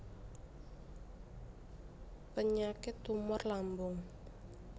Penyakit tumor lambung